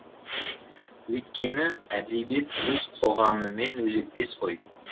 өйткені әдебиет өз қоғамымен өзектес қой